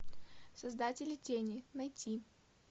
создатели тени найти